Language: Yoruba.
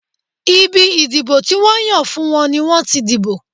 Ibi ìdìbò tí wọ́n yàn fún wọn ni wọ́n ti dìbò.